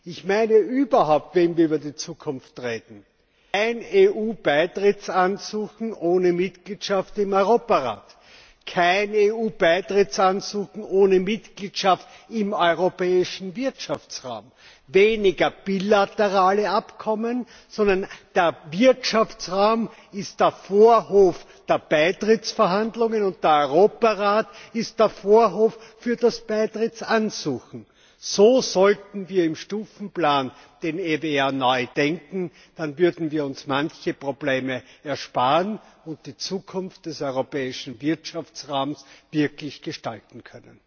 Ich meine überhaupt, wenn wir über die Zukunft reden kein EU Beitrittsansuchen ohne Mitgliedschaft im Europarat, kein EU Beitrittsansuchen ohne Mitgliedschaft im Europäischen Wirtschaftsraum, weniger bilaterale Abkommen, sondern der Wirtschaftsraum ist der Vorhof der Beitrittsverhandlungen, und der Europarat ist der Vorhof für das Beitrittsansuchen! So sollten wir im Stundenplan den EWR neu denken, dann würden wir uns manche Probleme ersparen und die Zukunft des Europäischen Wirtschaftsraums wirklich gestalten können.